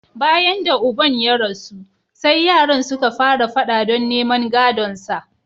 Bayan da uban ya rasu, sai yaran suka fara fada don neman gadonsa.